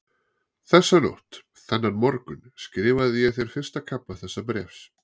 Þessa nótt, þennan morgun, skrifaði ég þér fyrsta kafla þessa bréfs.